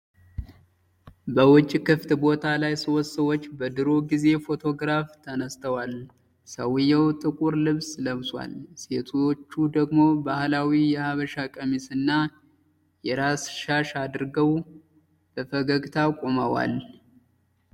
በውጭ ክፍት ቦታ ላይ ሶስት ሰዎች በድሮ ጊዜ ፎቶግራፍ ተነስተዋል። ሰውየው ጥቁር ልብስ ለብሷል፤ ሴቶቹ ደግሞ ባህላዊ የሐበሻ ቀሚስና የራስ ሻሽ አድርገው በፈገግታ ቆመዋል።